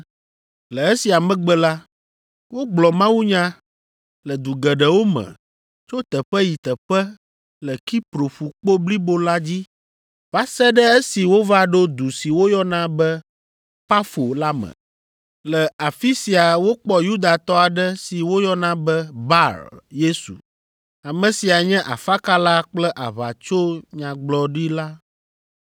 Le esia megbe la, wogblɔ mawunya le du geɖewo me tso teƒe yi teƒe le Kipro ƒukpo blibo la dzi va se ɖe esi wova ɖo du si woyɔna be Pafo la me. Le afi sia wokpɔ Yudatɔ aɖe si woyɔna be Bar Yesu. Ame sia nye afakala kple aʋatsonyagbɔɖila.